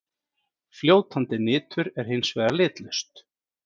Fljótandi nitur er hins vegar litlaust.